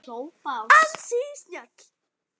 Ansi snjöll!